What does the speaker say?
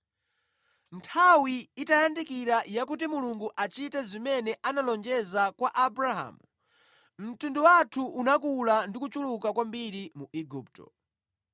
“Nthawi itayandikira yakuti Mulungu achite zimene analonjeza kwa Abrahamu, mtundu wathu unakula ndi kuchuluka kwambiri mu Igupto.